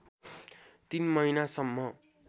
३ महिना सम्म